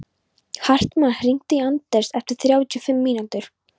Hartmann, hringdu í Anders eftir þrjátíu og fimm mínútur.